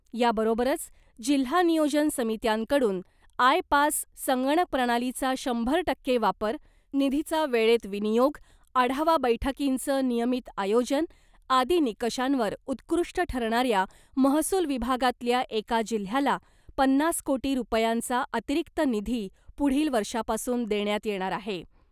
याबरोबरच जिल्हा नियोजन समित्यांकडून ' आय पास संगणकप्रणालीचा शंभर टक्के वापर , निधीचा वेळेत विनियोग , आढावा बैठकींचं नियमित आयोजन आदी निकषांवर उत्कृष्ट ठरणाऱ्या महसूल विभागातल्या एका जिल्ह्याला , पन्नास कोटी रुपयांचा अतिरिक्त निधी पुढील वर्षापासून देण्यात येणार आहे .